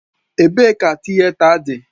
Ebee ka Tịeta dị?